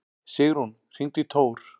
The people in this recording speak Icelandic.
Sigrún, hringdu í Tór.